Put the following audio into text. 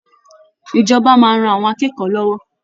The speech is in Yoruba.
Ìjọba máa ran àwọn akẹ́kọ̀ọ́ lọ́wọ́